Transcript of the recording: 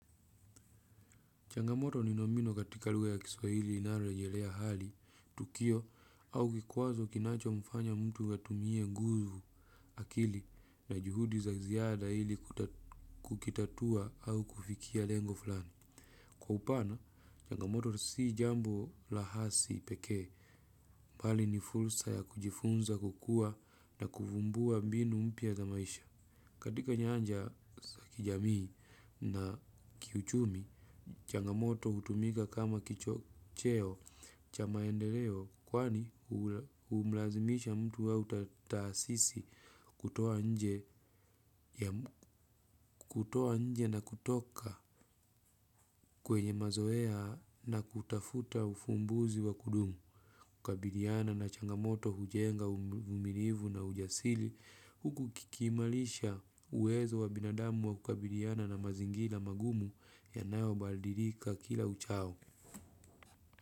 Changamoto ni nomino katika lugha ya kiswahili inayorejelea hali, tukio, au kikwazo kinachomfanya mtu atumie nguvu akili na juhudi za ziada ili kukitatua au kufikia lengo fulani. Kwa upana, changamoto si jambo lahasi pekee, mbali ni fursa ya kujifunza kukuwa na kuvumbua mbinu mpya za maisha. Katika nyanja za kijamii na kiuchumi, changamoto hutumika kama kichocheo cha maendeleo kwani humulazimisha mtu au taasisi kutoa nje na kutoka kwenye mazoea na kutafuta ufumbuzi wa kudumu. Kukabiliana na changamoto hujenga uvumilivu na ujasiri huku kikiimarisha uwezo wa binadamu wa kukabiliana na mazingira magumu yanayobadilika kila uchao.